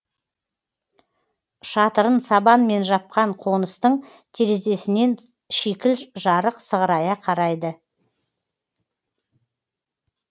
шатырын сабанмен жапқан қоныстың терезесінен шикіл жарық сығырая қарайды